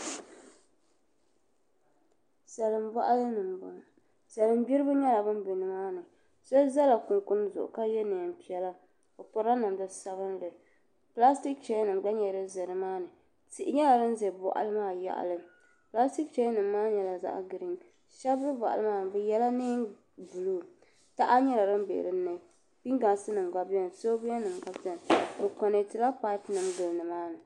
Salin boɣali ni n boŋo salin gbiribi nyɛla bin ʒɛ nimaani shab ʒɛla kunkun zuɣu ka yɛ neen piɛla o pirila namda sabinli pilastik chɛya nim gba nyɛla din ʒɛ nimaani tihi nyɛla din ʒɛ boɣali maa yaɣali pilastik chɛya nim maa nyɛla zaɣ giriin shab bɛ boɣali maa ni bi yɛla neen buluu taha nyɛla din bɛ dinni pingaasi nim gba biɛni soobuya nim gba biɛni bi konɛtila paapu nim guli nimaa ni